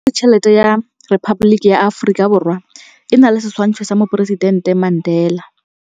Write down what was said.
Pampiritšheletê ya Repaboliki ya Aforika Borwa e na le setshwantshô sa poresitentê Mandela.